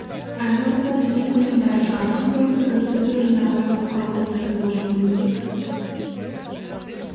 ән орындады ең көлемді әрі жарқын қойылым өрт сөндіру және авариялық құтқару қызметінің ұжымы өзбек